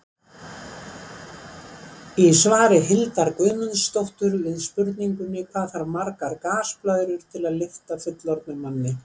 Í svari Hildar Guðmundsdóttur við spurningunni Hvað þarf margar gasblöðrur til að lyfta fullorðnum manni?